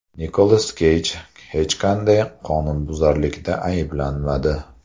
Nikolas Keyj hech qanday qonunbuzarlikda ayblanmadi.